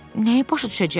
Nəyi başa düşüm?